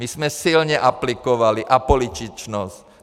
My jsme silně aplikovali apolitičnost.